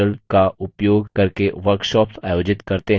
spoken tutorials का उपयोग करके workshops आयोजित करते हैं